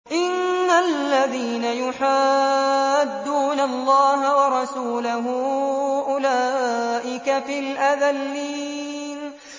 إِنَّ الَّذِينَ يُحَادُّونَ اللَّهَ وَرَسُولَهُ أُولَٰئِكَ فِي الْأَذَلِّينَ